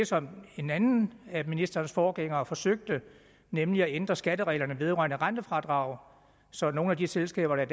som en anden af ministerens forgængere forsøgte nemlig at ændre skattereglerne vedrørende rentefradrag så nogle af de selskaber der